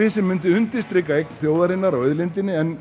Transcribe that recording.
sem undirstrikar eign þjóðarinnar á auðlindinni en